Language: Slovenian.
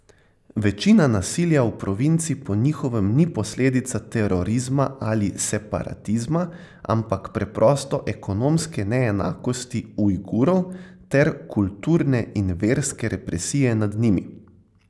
Večina nasilja v provinci po njihovem ni posledica terorizma ali separatizma, ampak preprosto ekonomske neenakosti Ujgurov ter kulturne in verske represije nad njimi.